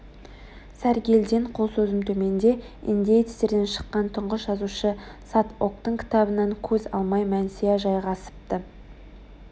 сәргелден қол созым төменде индеецтерден шыққан тұңғыш жазушы сат октың кітабынан көз алмай мәнсия жайғасыпты